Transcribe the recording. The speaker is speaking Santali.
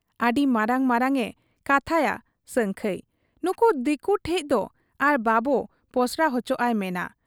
ᱟᱹᱰᱤ ᱢᱟᱨᱟᱝ ᱢᱟᱨᱟᱝ ᱮ ᱠᱟᱛᱷᱟᱭᱟ ᱥᱟᱹᱝᱠᱷᱟᱹᱭ ᱾ ᱱᱩᱠᱩ ᱫᱤᱠᱩ ᱴᱷᱮᱫ ᱫᱚ ᱟᱨ ᱵᱟᱵᱚ ᱯᱚᱥᱲᱟ ᱚᱪᱚᱜ ᱟᱭ ᱢᱮᱱᱟ ᱾